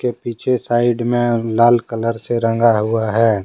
पीछे साइड में लाल कलर से रंगा हुआ है।